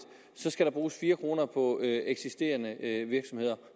skal der bruges fire kroner på eksisterende virksomheder